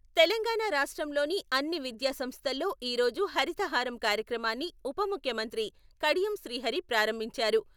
తెలంగాణ రాష్ట్రంలోని అన్ని విద్యాసంస్థల్లో ఈరోజు హరితహారం కార్యక్రమాన్ని ఉపముఖ్యమంత్రి కడియం శ్రీహరి ప్రారంభించారు.